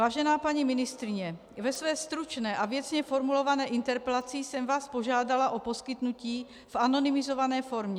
Vážená paní ministryně, ve své stručné a věcně formulované interpelaci jsem vás požádala o poskytnutí v anonymizované formě